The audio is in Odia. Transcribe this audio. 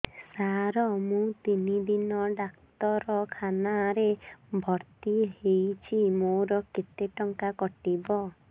ସାର ମୁ ତିନି ଦିନ ଡାକ୍ତରଖାନା ରେ ଭର୍ତି ହେଇଛି ମୋର କେତେ ଟଙ୍କା କଟିବ